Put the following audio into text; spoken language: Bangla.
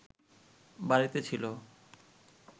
বাড়িতে ছিল